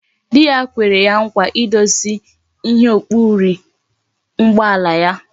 Di ya kwere ya nkwa idozi ihe okpuri ụgbọala ya